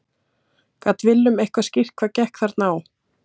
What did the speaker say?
Gat Willum eitthvað skýrt hvað gekk þarna á?